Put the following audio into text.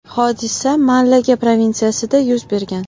Hodisa Malaga provinsiyasida yuz bergan.